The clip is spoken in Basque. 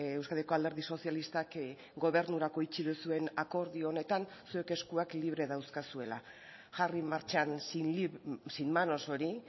euskadiko alderdi sozialistak gobernurako itxi duzuen akordio honetan zuek eskuak libre dauzkazuela jarri martxan sin manos hori